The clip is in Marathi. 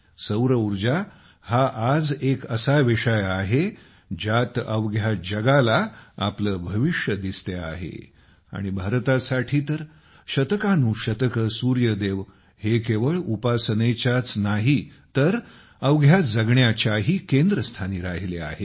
सौरऊर्जा हा आज एक असा विषय आहे ज्यात अवघ्या जगाला आपले भविष्य दिसते आहे आणि भारतासाठी तरशतकानुशतकेसूर्यदेव हे केवळ उपासनेच्याच नाही तर अवघ्या जगण्याच्याही केंद्रस्थानी राहिले आहेत